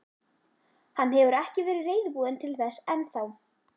Hann hefur ekki verið reiðubúinn til þess enn þá.